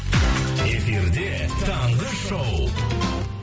эфирде таңғы шоу